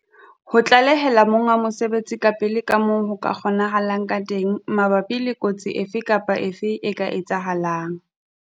Ho tlalehela monga mosebetsi kapele ka moo ho kgonahalang ka teng mabapi le kotsi efe kapa efe e ka etsahalang.